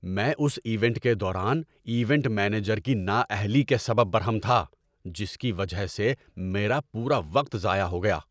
میں اس ایونٹ کے دوران ایونٹ مینیجر کی نااہلی کے سبب برہم تھا جس کی وجہ سے میرا پورا وقت ضائع ہو گیا۔